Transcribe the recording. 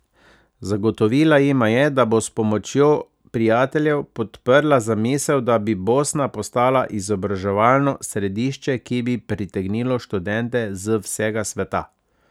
Zagotovila jima je, da bo s pomočjo prijateljev podprla zamisel, da bi Bosna postala izobraževalno središče, ki bi pritegnilo študente z vsega sveta.